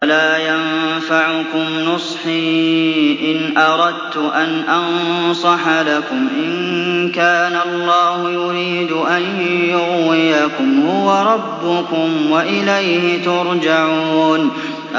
وَلَا يَنفَعُكُمْ نُصْحِي إِنْ أَرَدتُّ أَنْ أَنصَحَ لَكُمْ إِن كَانَ اللَّهُ يُرِيدُ أَن يُغْوِيَكُمْ ۚ هُوَ رَبُّكُمْ وَإِلَيْهِ تُرْجَعُونَ